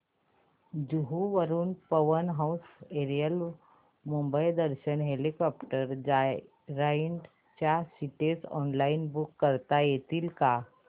जुहू वरून Pawan Hans aerial Mumbai Darshan helicopter joyride च्या seats online book करता येतील का